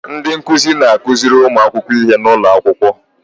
Ndị nkụzi na-akụziri ụmụ akwụkwọ ihe n'ụlọ akwụkwọ.